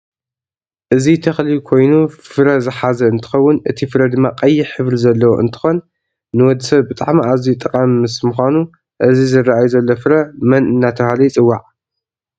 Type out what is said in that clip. እዚ ተክሊ ኮይኑ ፍረ ዝሓዘ እንትከውን እቲ ፍረ ድማ ቀይሕ ሕብሪ ዘለዎ እንትከን ንወድሰብ ብጣዓሚ ኣዝየ ጠቃም ምስ ምካኑ እዚ ዝርኣይ ዘሎ ፍረ መን እዳተበሃለ ይፅዋዕ?